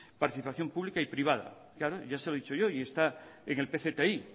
participación pública y privada ya se lo he dicho yo y está en el pcti